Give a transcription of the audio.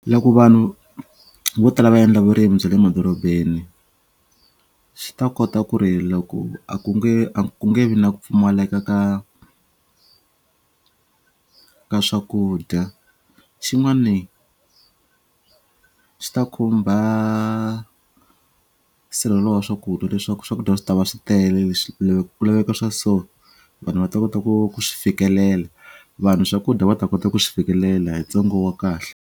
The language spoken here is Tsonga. Loko vanhu vo tala va endla vurimi bya le madorobeni xi ta kota ku ri loko a ku nge a ku nge vi na ku pfumaleka ka ka swakudya xin'wani swi ta khumba sirhelo wa swakudya leswaku swakudya swi tava swi tele leswi loko ku laveka swa so vanhu va ta kota ku ku xi fikelela vanhu swakudya va ta kota ku swi fikelela hi tsengo wa kahle.